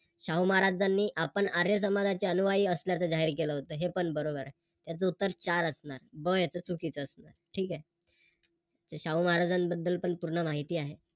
शाहू महाराजांनी आपण आर्य समाजाचे अनुयायी असल्याचे जाहीर केले होते हे पण बरोबर. त्याच उत्तर चार असणार चुकीच असणार ठीक आहे. शाहू महाराजांबद्दल पण पूर्ण माहिती आहे.